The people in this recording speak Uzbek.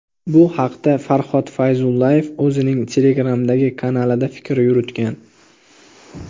Bu haqda Farhod Fayzullayev o‘zining Telegram’dagi kanalida fikr yuritgan .